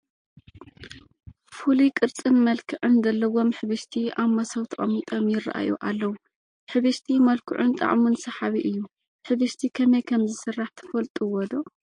ፍሉይ ቅርንፅን መልክዕን ዘለዎም ሕብሽቲ ኣብ መሶብ ተቐሚጦም ይርአዩ ኣለዉ፡፡ ሕብሽቲ መልክዑን ጣዕሙን ሰሓቢ እዩ፡፡ ሕብሽቲ ከመይ ከምዝስራሕ ትፈልጡዎ ዶ?